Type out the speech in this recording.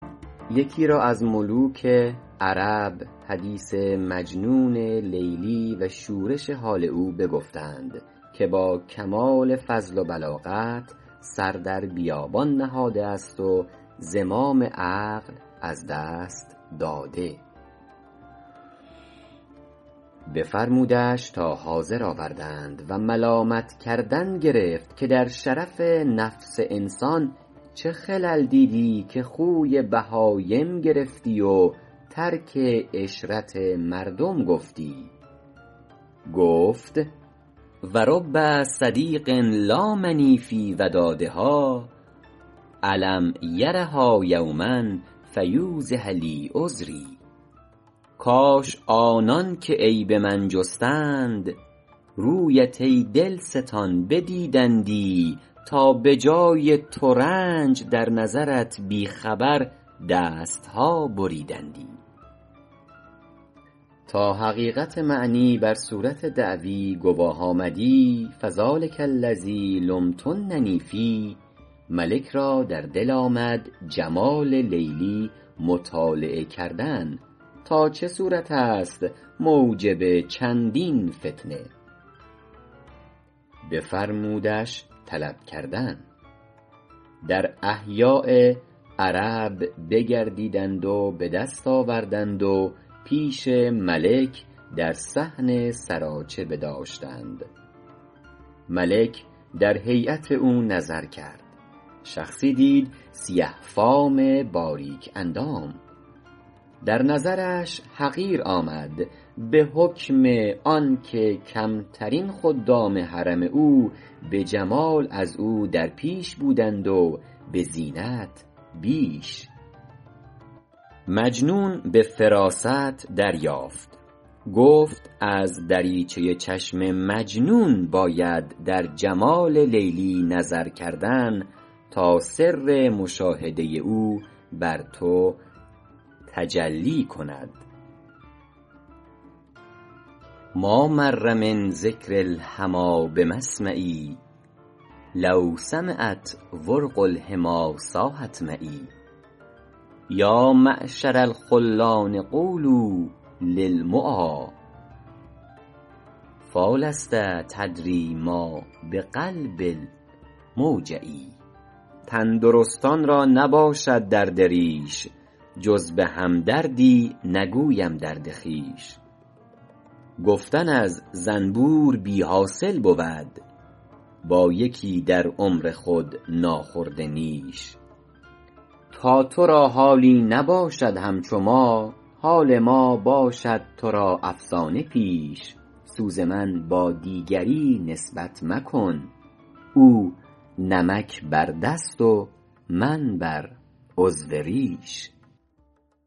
یکی را از ملوک عرب حدیث مجنون لیلی و شورش حال او بگفتند که با کمال فضل و بلاغت سر در بیابان نهاده است و زمام عقل از دست داده بفرمودش تا حاضر آوردند و ملامت کردن گرفت که در شرف نفس انسان چه خلل دیدی که خوی بهایم گرفتی و ترک عشرت مردم گفتی گفت و رب صدیق لامنی فی ودادها الم یرها یوما فیوضح لی عذری کاش کآنان که عیب من جستند رویت ای دلستان بدیدندی تا به جای ترنج در نظرت بی خبر دست ها بریدندی تا حقیقت معنی بر صورت دعوی گواه آمدی فذٰلک الذی لمتننی فیه ملک را در دل آمد جمال لیلی مطالعه کردن تا چه صورت است موجب چندین فتنه بفرمودش طلب کردن در احیاء عرب بگردیدند و به دست آوردند و پیش ملک در صحن سراچه بداشتند ملک در هیأت او نظر کرد شخصی دید سیه فام باریک اندام در نظرش حقیر آمد به حکم آن که کمترین خدام حرم او به جمال از او در پیش بودند و به زینت بیش مجنون به فراست دریافت گفت از دریچه چشم مجنون باید در جمال لیلی نظر کردن تا سر مشاهده او بر تو تجلی کند ما مر من ذکر الحمیٰ بمسمعی لو سمعت ورق الحمی صاحت معی یا معشر الخلان قولوا للمعا فیٰ لست تدری ما بقلب الموجع تندرستان را نباشد درد ریش جز به هم دردی نگویم درد خویش گفتن از زنبور بی حاصل بود با یکی در عمر خود ناخورده نیش تا تو را حالی نباشد همچو ما حال ما باشد تو را افسانه پیش سوز من با دیگری نسبت مکن او نمک بر دست و من بر عضو ریش